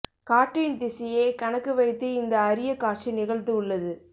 காற்றின் திசையை கணக்கு வைத்து இந்த அரிய காட்சி நிகழ்ந்து உள்ளது